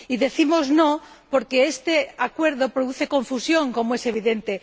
Y decimos no porque este Acuerdo produce confusión, como es evidente.